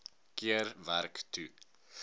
keer werk toe